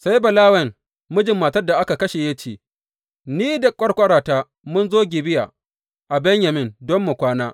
Sai Balawen, mijin matar da aka kashe ya ce, Ni da ƙwarƙwarata mun zo Gibeya a Benyamin don mu kwana.